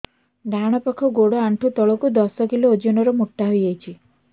ଡାହାଣ ପାଖ ଗୋଡ଼ ଆଣ୍ଠୁ ତଳକୁ ଦଶ କିଲ ଓଜନ ର ମୋଟା ହେଇଯାଇଛି